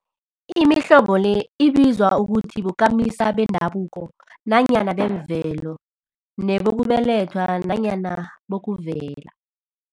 Imihlobo le ibizwa ukuthi bokamisa bendabuko nanyana bemvelo, nabokubelethwa nanyana bokuvela.